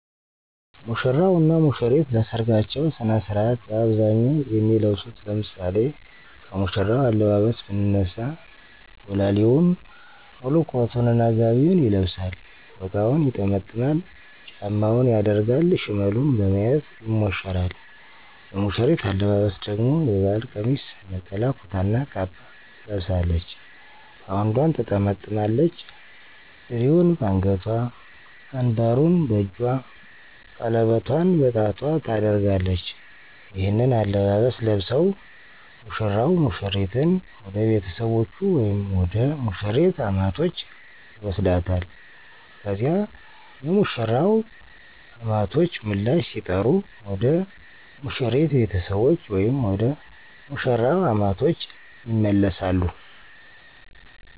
ሙሽራው እና ሙሽሪት ለሰርጋቸው ስነ ስርዓት በአብዛኛው የሚለብሱት ለምሳሌ ከሙሽራው አለባበስ ብንነሳ ቦላሌውን፣ ሙሉ ኮቱን እና ጋቢውን ይለብሳል፤ ፎጣውን ይጠመጥማል፤ ጫማውን ያደርጋል፤ ሽመሉን በመያዝ ይሞሸራል። የሙሽሪት አለባበስ ደግሞ የባህል ቀሚስ፣ ነጠላ ኩታ እና ካባ ትለብሳለች፤ ባውንዷን ትጠመጥማለች፣ ድሪውን በአንገቷ፣ አንባሩን በእጇ፣ ቀለበቷን በጣቷ ታደርጋለች። ይህንን አለባበስ ለብሰው ሙሽራው ሙሽሪትን ወደ ቤተሰቦቹ ወይም ወደ ሙሽሪት አማቶች ይወስዳታል። ከዚያ የሙሽራው አማቶች ምላሽ ሲጠሩ ወደ ሙሽሪት ቤተሰቦች ወይም ወደ መሽራው አማቶች ይመለሳሉ።